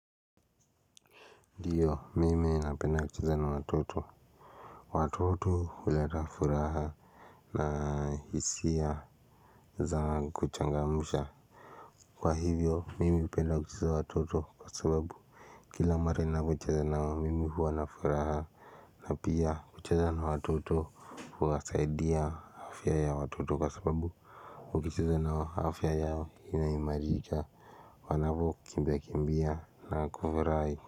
Ndiyo mimi napenda kucheza na watoto. Watoto huleta furaha. Na hisia za kuchangamsha kwa hivyo mimi hupenda kucheza watoto kwa sababu kila mara nainapocheza na wao mimi huwa na furaha. Na pia kucheza na watoto huwasaidia afya ya watoto kwa sababu ukicheza na wao afya yao inaimarika. Wanavokimbia kimbia na kufurahi.